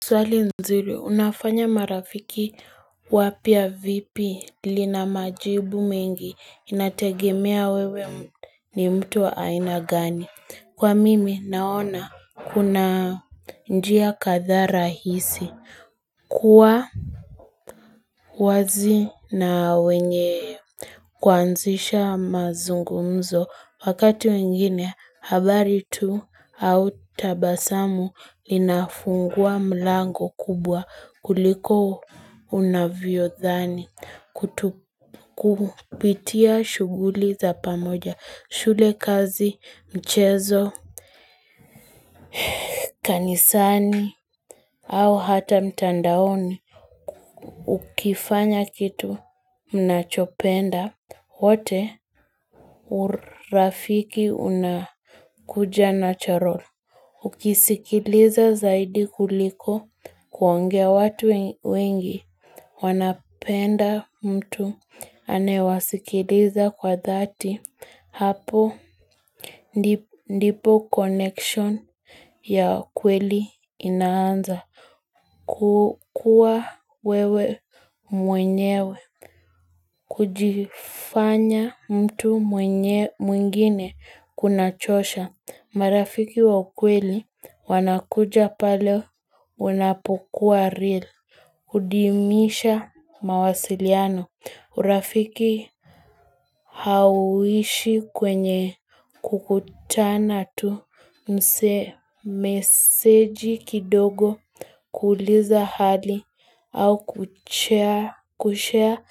Swali nzuri unafanya marafiki wapya vipi? Lina majibu mengi inategemea wewe ni mtu wa aina gani kwa mimi naona kuna njia kadhaa rahisi kuwa wazi na wenye kuanzisha mazungumzo wakati mwingine habari tu au tabasamu linafungua mlango kubwa kuliko unavyodhani kupitia shughuli za pamoja, shule, kazi, michezo, kanisani au hata mitandaoni. Ukifanya kitu mnachopenda, wote urafiki unakuja na nachorol Ukisikiliza zaidi kuliko kuongea watu wengi wanapenda mtu anaewasikiliza kwa dhati hapo Ndipo connection ya kweli inaanza kukua wewe mwenyewe kujifanya mtu mwingine kuna chosha marafiki wa ukweli wanakuja pale unapokuwa real hudimisha mawasiliano urafiki Hauishi kwenye kukutana tu meseji kidogo kuuliza hali au kushea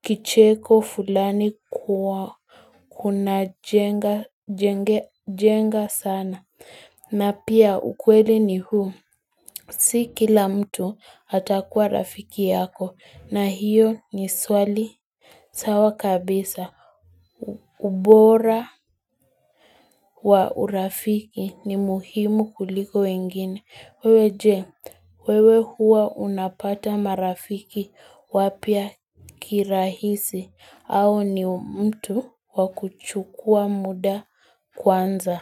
kicheko fulani Kunajenga sana na pia ukweli ni huu Si kila mtu atakuwa rafiki yako na hiyo ni swali sawa kabisa ubora wa urafiki ni muhimu kuliko wengine wewe je wewe huwa unapata marafiki wapya kirahisi au ni mtu wa kuchukua muda kwanza.